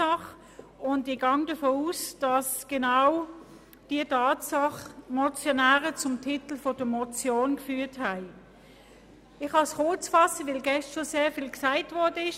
Ich gehe davon aus, dass diese Tatsache die Motionäre zur Einreichung dieser Motion bewegt hat.